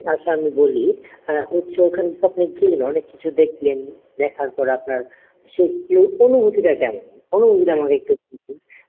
আচ্ছা আমি বলি হ্যা হচ্ছে ওখান থেকে আপনি গিয়ে অনেক কিছু দেখলেন দেখার পর আপনার সেই অনুভূতি টা কেমন অনুভূতি টা আমাকে একটু বলেন